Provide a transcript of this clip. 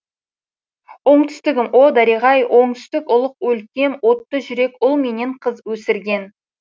оңтүстігім о дариға ай оңтүстік ұлық өлкем отты жүрек ұл менен қыз өсірген